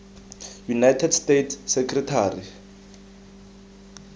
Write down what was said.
united states secretary